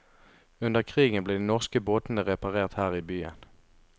Under krigen ble de norske båtene reparert her i byen.